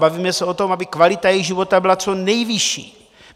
Bavíme se o tom, aby kvalita jejich života byla co nejvyšší.